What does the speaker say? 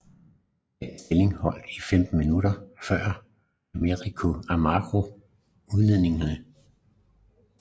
Den stilling holdt i 15 minutter før Amancio Amaro udlignede